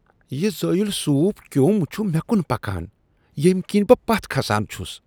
یہ زٲوِیوٚل سوپ كیوٚم چُھ مےٚ کُن پکان ییمہِ كِنۍ بہٕ پتھ كھسان چُھس ۔